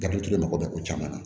Dabilutigi mago bɛ ko caman na